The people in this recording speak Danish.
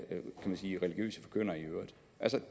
via religiøse forkyndere i øvrigt